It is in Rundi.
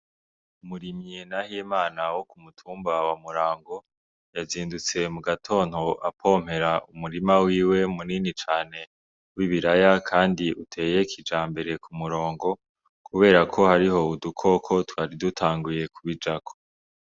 Umurimye Nahimana wo kumutumba wa murango yazindutse mu gatondo apompera umurima wiwe munini cane w'ibiraya, kandi uteye kijambere ku murongo, kubera ko hariho udukoko twari dutanguye kubijako.